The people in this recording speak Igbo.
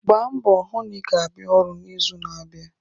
Gbaa mbọ hụ na ị ga-abịa ọrụ n'izu na-abịa